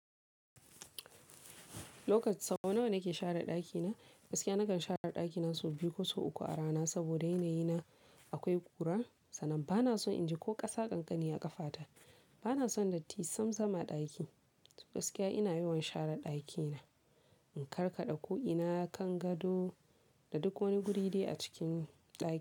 Lokaci sau nawa nake share ɗakina? Gaskiya nakan share ɗakina sau biyu ko sau uku a rana saboda yana yi na akwai ƙura, sannan bana son in ji ko ƙasa ƙanƙani a ƙafa ta. Bana son datti sam sam ɗaki. Gaskiya ina yawan share ɗakina. In karkaɗa ko ina kan gado da duk wani guri dai a cikin ɗaki.